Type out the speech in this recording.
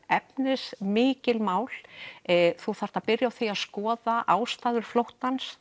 efnismikil mál þú þarft að byrja á því að skoða ástæður flóttans